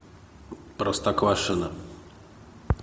простоквашино